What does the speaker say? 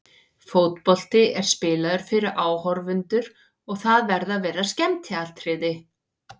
Fótbolti er spilaður fyrir áhorfendur og það verða að vera skemmtiatriði.